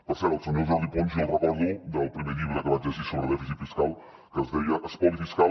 per cert el senyor jordi pons jo el recordo del primer llibre que vaig llegir sobre dèficit fiscal que es deia l’espoli fiscal